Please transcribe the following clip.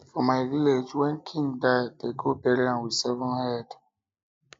for my village wen king die dey go bury am with seven heads